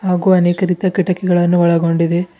ಹಾಗೂ ಅನೇಕ ರೀತಿಯ ಕಿಟಕಿಗಳನ್ನು ಒಳಗೊಂಡಿದೆ.